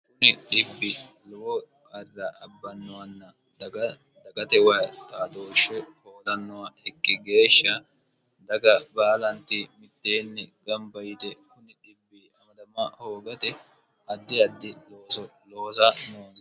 kuni di lowo qarra abbannowanna dgdagate wayi taatooshshe hoolannoha ikki geeshsha daga baalanti mitteenni gamba yite kumm hoogate addi addi looso loosa noonni